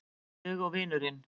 Ég og vinurinn.